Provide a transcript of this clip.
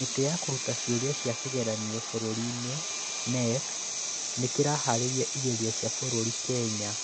Kamĩtĩ ya Kũruta Ciũria cia kĩgeranio Bũrũri-ini (KNEC) nĩ kĩhaarĩria igerio cia bũrũri: Kenya